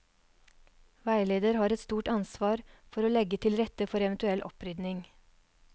Veileder har et stort ansvar for å legge til rette for eventuell opprydding.